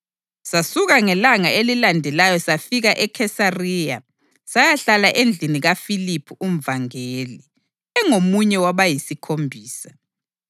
Sasuka ngelanga elilandelayo safika eKhesariya sayahlala endlini kaFiliphu umvangeli, engomunye wabayisiKhombisa.